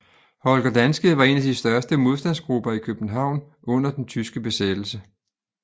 Holger Danske var en af de største modstandsgrupper i København under den tyske besættelse